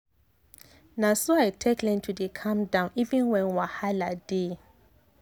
na so i take learn to dey calm even when wahala dey.